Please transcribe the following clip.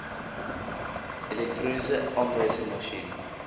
elektroniese aanwyserma sjien